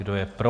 Kdo je pro?